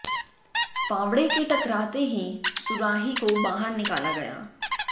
फावड़े के टकराते ही सुराही को बाहर निकाला गया